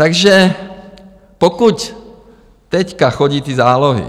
Takže pokud teď chodí ty zálohy